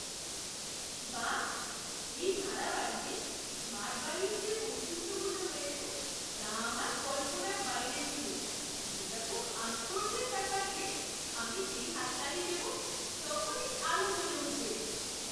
বাহ, এই ভাড়া বাড়িতে স্মার্ট বাড়ির যে বৈশিষ্ট্যগুলো রয়েছে তা আমার কল্পনার বাইরে ছিল। এটা খুব আশ্চর্যের ব্যাপার যে আমি যেই হাততালি দেব, তখনই আলো জ্বলে উঠবে!